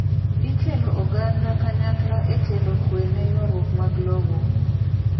Ikelo oganda kanykla ekelo kwee neyuaruok mag lowo.